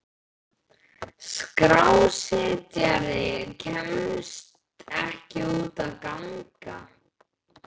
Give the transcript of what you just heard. Skrásetjari kemst ekki út að ganga.